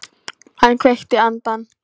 Hann kveikti andann.